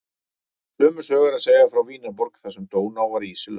Sömu sögu er að segja frá Vínarborg þar sem Dóná var ísilögð.